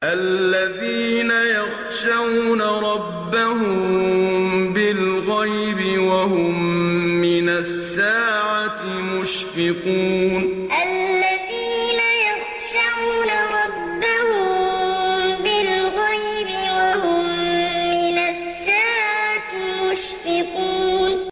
الَّذِينَ يَخْشَوْنَ رَبَّهُم بِالْغَيْبِ وَهُم مِّنَ السَّاعَةِ مُشْفِقُونَ الَّذِينَ يَخْشَوْنَ رَبَّهُم بِالْغَيْبِ وَهُم مِّنَ السَّاعَةِ مُشْفِقُونَ